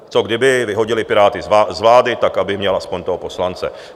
Co kdyby vyhodili Piráty z vlády, tak aby měl aspoň toho poslance.